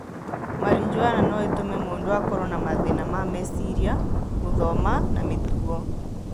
Marijuana no ĩtũme mũndũ akorũo na mathĩĩna ma meciria, gũthoma na mĩtugo.